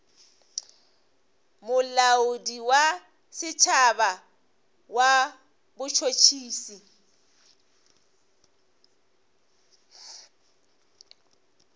molaodi wa setšhaba wa botšhotšhisi